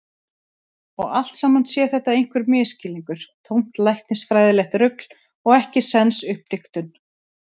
Og allt saman sé þetta einhver misskilningur, tómt læknisfræðilegt rugl og ekkisens uppdiktun.